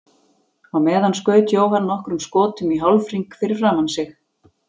Á meðan skaut Jóhann nokkrum skotum í hálfhring fyrir framan sig.